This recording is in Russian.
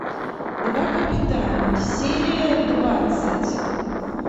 два капитана серия двадцать